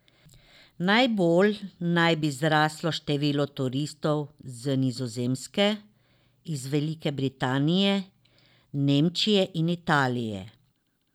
Najbolj naj bi zraslo število turistov z Nizozemske, iz Velike Britanije, Nemčije in Italije.